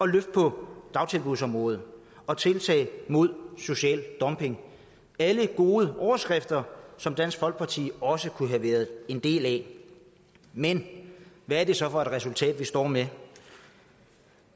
løft på dagtilbudsområdet og tiltag mod social dumping alle gode overskrifter som dansk folkeparti også kunne have været en del af men hvad er det så for et resultat vi står med